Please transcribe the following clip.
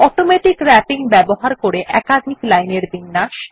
automatic wrapping ব্যবহার করে একাধিক লাইনের বিন্যাস